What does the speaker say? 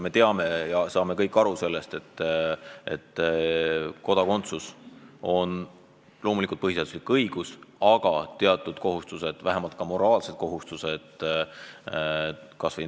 Me teame kõik, et kodakondsus on põhiseaduslik õigus, millega samas kaasnevad teatud kohustused, vähemalt moraalsed.